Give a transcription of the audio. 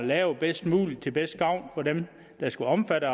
lavet bedst muligt til mest gavn for dem der skal omfattes